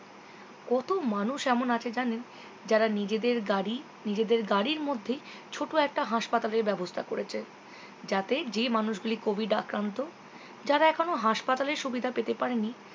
কত মানুষ এমন আছে জানেন যারা নিজেদের গাড়ি নিজেদের গাড়ির মধ্যেই ছোট একটা হাসপাতালের ব্যবস্থা করেছে যাতে যেই মানুষ গুলো covid আক্রান্ত যারা এখনো হাসপাতালের সুবিধা পেতে পারেনি